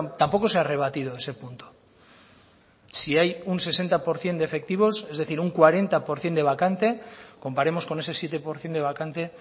tampoco se ha rebatido ese punto si hay un sesenta por ciento de efectivos es decir un cuarenta por ciento de vacante comparemos con ese siete por ciento de vacante